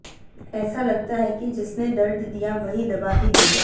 ऐसा लगता है कि जिसने दर्द दिया वही दवा भी देगा